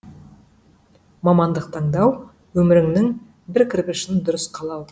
мамандық таңдау өміріңнің бір кірпішін дұрыс қалау